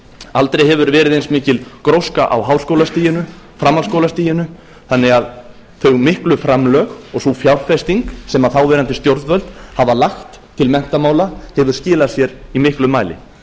aldrei hefur verið eins mikil gróska á háskólastiginu framhaldsskólastiginu þannig að þau miklu framlög og sú fjárfesting sem þáverandi stjórnvöld hafa lagt til menntamála hefur skilað sér í miklum mæli